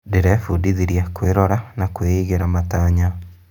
Ndĩrebundithirie kwĩrora na kwĩigĩra matanya.